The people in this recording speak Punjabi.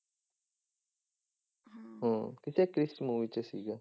ਹਮ ਕਿਸੇ ਕ੍ਰਿਸ movie 'ਚ ਸੀਗਾ।